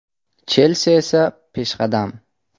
“Chelsi” esa peshqadam.